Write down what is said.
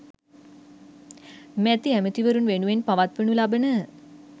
මැති ඇමතිවරුන් වෙනුවෙන් පවත්වනු ලබන